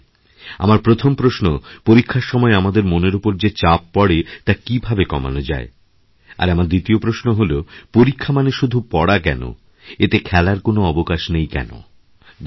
আমার প্রথম প্রশ্ন পরীক্ষার সময় আমাদের মনের ওপর যে চাপপড়ে তা কীভাবে কমানো যায় আর আমার দ্বিতীয় প্রশ্ন হল পরীক্ষা মানে শুধু পড়া কেনএতে খেলার কোনো অবকাশ নেই কেন ধন্যবাদ